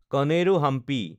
কণেৰো Hampi